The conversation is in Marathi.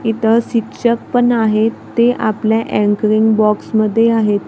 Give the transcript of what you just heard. इथं शिक्षक पण आहेत ते आपल्या अँकरिंग बॉक्समध्ये आहेत.